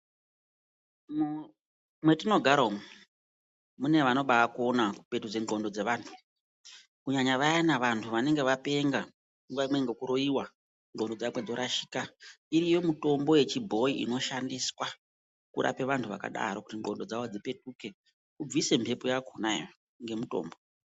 Mwetinogara umu, mune vanobakona kupetudze ndxondo dzevantu. Kunyanya vayana vantu vanenge vapenga nguva imwe ngekuroiwa, ndxondo dzakwe dzorashika. Iriyo mitombo yechibhoyi inoshandiswa kurape vantu vakadaro kuti ndxondo dzavo dzipetuke, ubvise mhepo yakonayo ngemutombo.